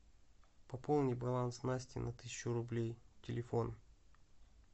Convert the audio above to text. пополни баланс насти на тысячу рублей телефон